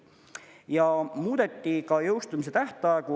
Ja muudeti ka jõustumise tähtaegu.